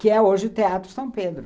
Que é hoje o Teatro São Pedro.